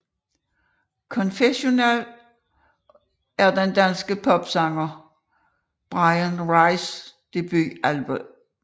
Confessional er den danske popsanger Bryan Rices debutalbum